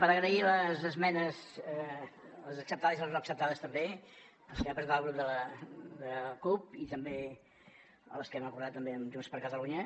per agrair les esmenes les acceptades i les no acceptades també les que va presentar el grup de la cup i també les que hem acordat amb junts per catalunya